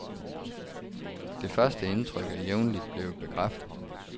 Det første indtryk er jævnligt blevet bekræftet.